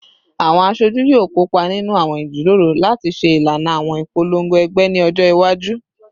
Awọn aṣoju yoo kopa ninu awọn ijiroro lati ṣe ilana awọn ipolongo ẹgbẹ ni ọjọ iwaju